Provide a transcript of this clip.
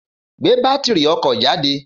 Gbé bátìrì ọkọ̀ jáde